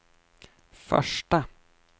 första